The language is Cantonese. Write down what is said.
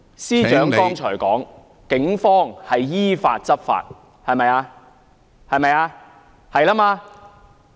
司長剛才指警方依法執法，對嗎？